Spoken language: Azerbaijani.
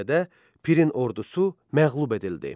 Nəticədə Pirin ordusu məğlub edildi.